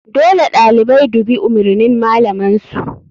Dole ɗalibai dubi umurnin malaman su..